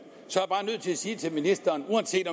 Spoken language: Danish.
er sige til ministeren at uanset